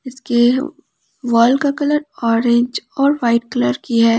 इसके वॉल का colour orange और वाइट कलर की है।